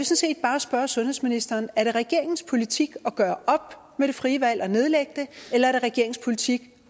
set bare spørge sundhedsministeren er det regeringens politik at gøre op med det frie valg og nedlægge det eller er det regeringens politik